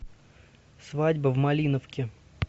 свадьба в малиновке